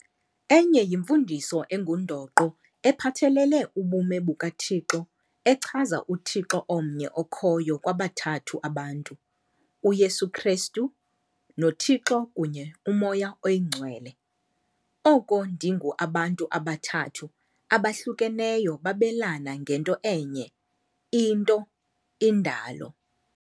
Emnye yimfundiso engundoqo ephathelele ubume bukaThixo echaza uThixo omnye okhoyo kwabathathu abantu - UYesu Kristu, noThixo kunye uMoya oyiNgcwele, oko ndingu abantu abathathu abahlukeneyo babelana ngento enye - into - indalo.